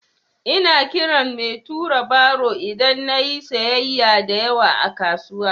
Ina kiran mai tura baro idan na yi sayyaya da yawa a kasuwa.